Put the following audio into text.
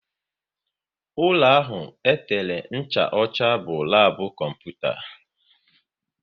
Ụlọ ahụ e tere ncha ọcha bụ labu kọmputa